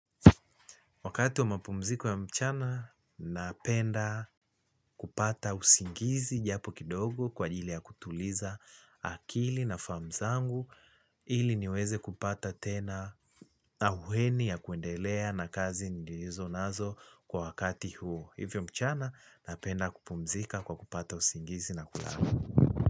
Wakati wa mapumziko ya mchana, napenda kupata usingizi japo kidogo kwa ajili ya kutuliza akili na fahamu zangu ili niweze kupata tena na uheni ya kuendelea na kazi nilizonazo kwa wakati huo. Hivyo mchana, napenda kupumzika kwa kupata usingizi na kulala.